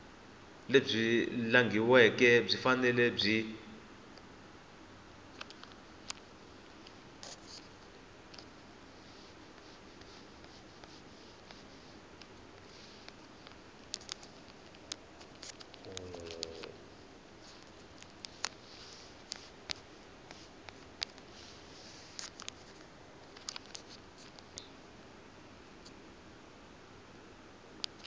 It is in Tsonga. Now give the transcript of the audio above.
lebyi langhiweke byi fanele byi